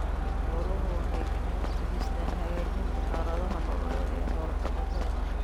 Xooluhu waxay gacan ka geystaan ??hagaajinta xaaladda nololeed ee xoola-dhaqatada.